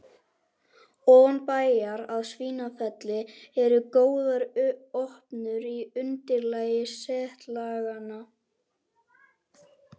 Ofan bæjar að Svínafelli eru góðar opnur í undirlag setlaganna.